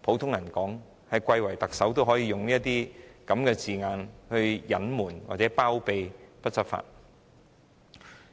普通人口中，貴為特首也會利用這些字眼隱瞞或包庇不執法的情況。